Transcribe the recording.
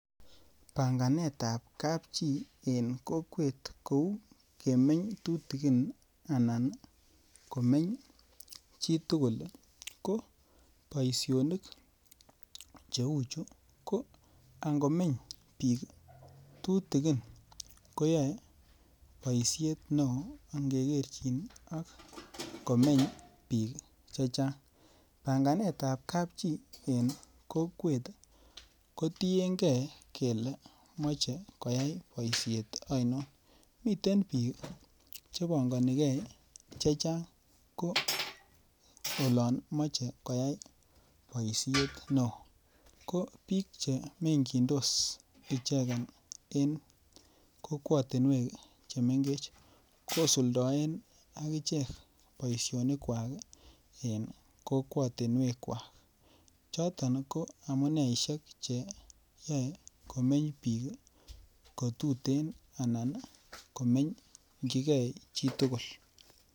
Panganet ap kapchi in kokwet kou kemeny tutigin anan komeny chitugul ko boisionik cheuchu ko angomeny biik tutigin koyae boisiet neoo ngegerchin ak komeny biik chechang'. panganet ap kapchi in kokwet kotiengei kele meche koyai boisiet ain. mite biik chepanganikei chechang' ko olon meche koyai boisiet neoo ko biik chemengindos ichegei in kokwatunwek chemengech kosuldaen akichek boisionik kwak in kokwatunwek kwak. chooton ko amuneisiek cheyae komeny biik kotuten anan komeny ngigai chtugul